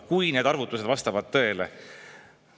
–, kui need arvutused vastavad tõele.